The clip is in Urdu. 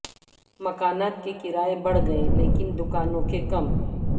مکانات کے کرائے بڑھ گئے لیکن دکانوں کے کم